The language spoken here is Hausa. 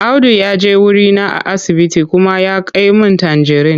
Audu ya je wurina a asibiti kuma ya kai min tanjirin.